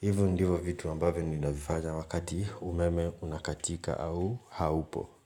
Hivyo ndivyo vitu ambavyo ninavifanya wakati umeme unakatika au haupo.